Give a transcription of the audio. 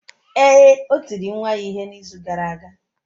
Ee, o tiri nwa ya ihe n’izu gara aga.